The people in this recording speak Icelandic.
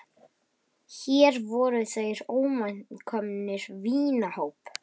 Hér voru þeir óvænt komnir í vinahóp.